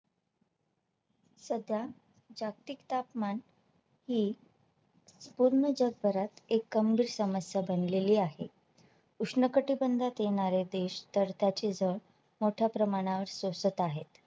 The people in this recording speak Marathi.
सध्या जागतिक तापमान हि पूर्ण जगभरात एक गंभीर समस्या बनलेली आहे उष्ण कटिबंधात येणारे देश तर त्याची झळ मोठ्या प्रमाणावर सोसत आहेत